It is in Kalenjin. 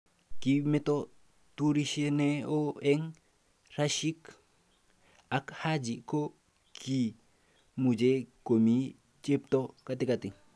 kimito turishe ne oo eng Rashik ak Haji ko ki muchine komii chepto katikati